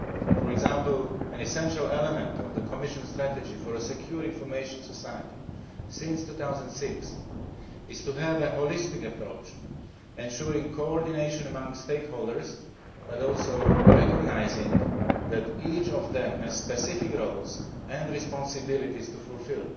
For example, an essential element of the Commission's strategy for a secure information society, since 2006, has been to have a holistic approach, ensuring coordination amongst stakeholders but also recognising that each of them has specific roles and responsibilities to fulfil.